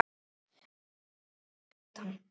Hún elskaði sólina og hitann.